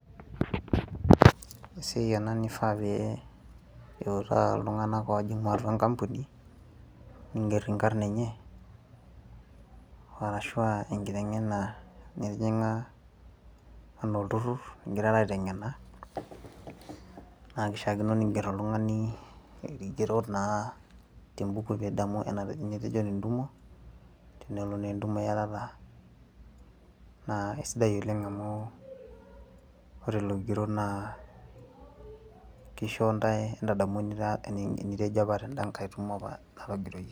esiai ena nifaa pee iutaa iltung'anak ojing'u atua enkampuni ningerr inkarrn enye arashua enkiteng'ena nitijing'a anaa olturrur ingirara aiteng'ena naa kishiakino ningerr oltung'ani irkigerot naa tembuku pidamu enate, enetejo tentumo tenelo naa entumo iyatata naa aisidai oleng amu ore lelo kigerot naa kisho ntae entadamu enitejo apa tend'a nkae tumo apa natogiroyie.